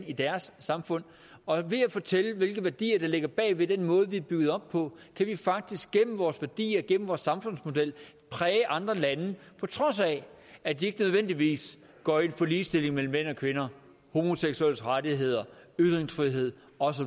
i deres samfund og ved at fortælle hvilke værdier der ligger bag ved den måde vores samfund er bygget op på kan vi faktisk gennem vores værdier og gennem vores samfundsmodel præge andre lande på trods af at de ikke nødvendigvis går ind for ligestilling mellem mænd og kvinder homoseksuelles rettigheder ytringsfrihed og